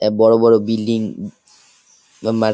এ বড়ো বড়ো বিল্ডিং